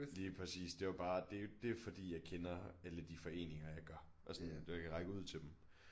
Lige præcis det var bare det det fordi jeg kender alle de foreninger jeg gør og sådan det jeg kan række ud til dem